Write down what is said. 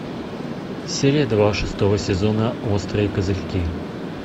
серия два шестого сезона острые козырьки